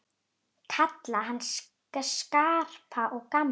Kalla hann Skarpa og gamla!